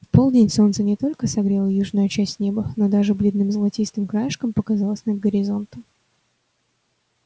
в полдень солнце не только согрело южную часть неба но даже бледным золотистым краешком показалось над горизонтом